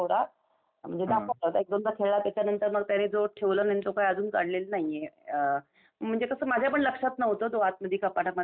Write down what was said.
म्हणजे दाखवला होता एक दोनदा खेळला त्याच्या नंतर मग त्यांनी जो ठेवला त्यानी तो काय अजून काढलेला नाहीये. अम म्हणजे तसं माझ्यापण लक्षात नव्हतं तो आतमध्ये कपाटामध्ये आहे तो.